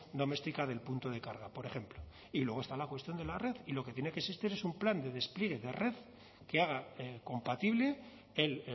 doméstica del punto de carga por ejemplo y luego está la cuestión de la red y lo que tiene que existir es un plan de despliegue de red que haga compatible el